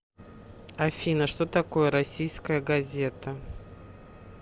афина что такое российская газета